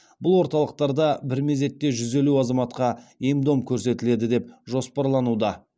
бұл орталықтарда бір мезетте жүз елу азаматқа ем дом көрсетіледі деп жоспарлануда